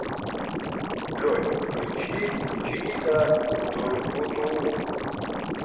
джой включи джида тургутуу